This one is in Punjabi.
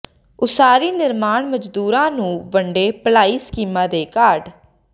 ਉਸਾਰੀ ਨਿਰਮਾਣ ਮਜ਼ਦੂਰਾਂ ਨੂੰ ਵੰਡੇ ਭਲਾਈ ਸਕੀਮਾਂ ਦੇ ਕਾਰਡ